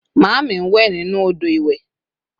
maami nwe ninu odo iwe